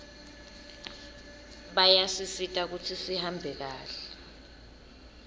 bayasisita kutsi tihambe kahle